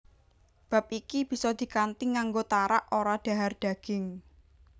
Bab iki bisa dikanthi nganggo tarak ora dhahar daging